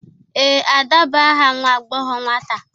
Ee, Ada bụ aha nwa agbọghọ nwata.